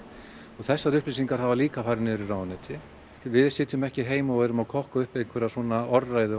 og þessar upplýsingar hafa líka farið niður í ráðuneyti við sitjum ekki heima og erum að kokka upp einhverja orðræðu